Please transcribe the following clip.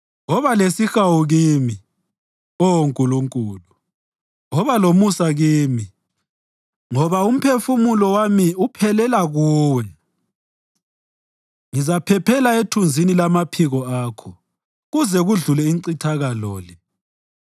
Woba lesihawu kimi, Oh Nkulunkulu, woba lomusa kimi, ngoba umphefumulo wami uphelela kuwe. Ngizaphephela ethunzini lamaphiko akho kuze kudlule incithakalo le.